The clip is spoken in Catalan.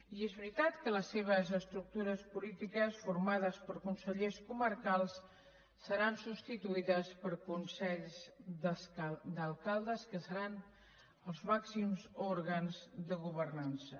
i és veritat que les seves estructures polítiques formades per consellers comarcals seran substituïdes per consells d’alcaldes que seran els màxims òrgans de governança